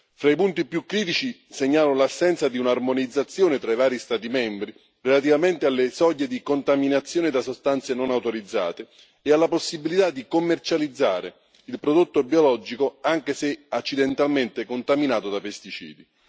Fra i punti più critici segnalo l'assenza di un'armonizzazione tra i vari Stati membri relativamente alle soglie di contaminazione da sostanze non autorizzate e alla possibilità di commercializzare il prodotto biologico anche se accidentalmente contaminato da pesticidi.